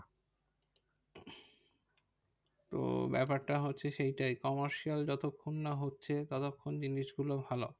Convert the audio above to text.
তো ব্যাপারটা হচ্ছে সেইটাই commercial যতক্ষণ না হচ্ছে ততক্ষন জিনিসগুলো ভালো।